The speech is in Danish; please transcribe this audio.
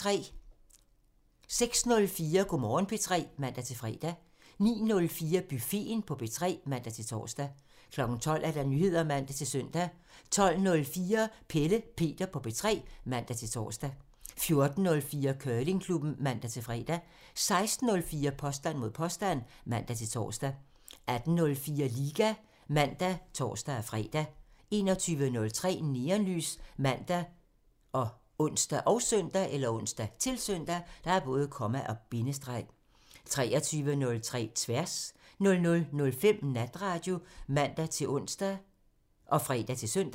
06:04: Go' Morgen P3 (man-fre) 09:04: Buffeten på P3 (man-tor) 12:00: Nyheder (man-søn) 12:04: Pelle Peter på P3 (man-tor) 14:04: Curlingklubben (man-fre) 16:04: Påstand mod påstand (man-tor) 18:04: Liga (man og tor-fre) 21:03: Neonlys ( man, ons, -søn) 23:03: Tværs (man) 00:05: Natradio (man-ons og fre-søn)